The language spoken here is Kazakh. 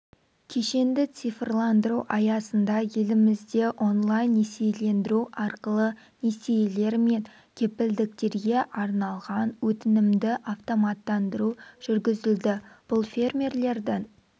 кешенді цифрландыру аясында елімізде онлайн-несиелендіру арқылы несиелер мен кепілдіктерге арналған өтінімді автоматтандыру жүргізілді бұл фермерлердің